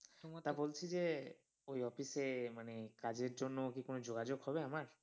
তা বলছি যে ওই office এ মানে কাজের জন্য কি কোন যোগাযোগ হবে আমার?